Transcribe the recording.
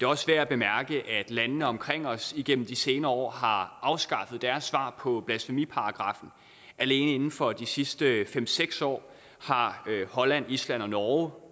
også værd at bemærke at landene omkring os igennem de senere år har afskaffet deres svar på blasfemiparagraffen alene inden for de sidste fem seks år har holland island og norge